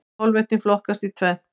Kolvetni flokkast í tvennt.